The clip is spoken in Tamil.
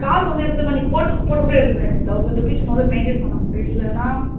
காசு வந்து எப்படி தெரியுமா நீ போட்டு போட்டு எடுத்துக்கலாம் இப்ப thousand rupees உன்னால maintain பண்ண முடியலன்னா